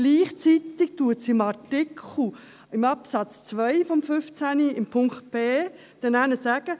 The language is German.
Gleichzeitig wird in Artikel 15 in Absatz 2 in Buchstabe b gesagt: